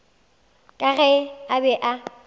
ka ge a be a